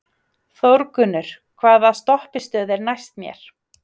Þórgunnur, hvaða stoppistöð er næst mér?